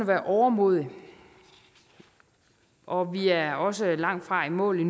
være overmodig og vi er også langt fra i mål